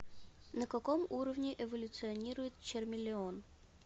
на каком уровне эволюционирует чармелеон